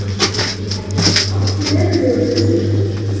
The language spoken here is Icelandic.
Hann gæti orðið okkur verulegur liðsstyrkur